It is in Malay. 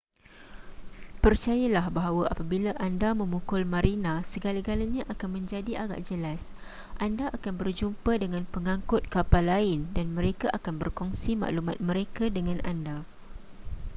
percayalah bahawa apabila anda memukul marina segala-galanya akan menjadi agak jelas anda akan berjumpa dengan pengangkut kapal lain dan mereka akan berkongsi maklumat mereka dengan anda